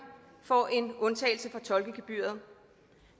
får en undtagelse fra tolkegebyret